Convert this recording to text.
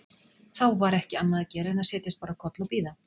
Þá var ekki annað að gera en að setjast bara á koll og bíða.